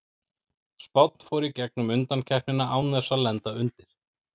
Spánn fór í gegnum undankeppnina án þess að lenda undir.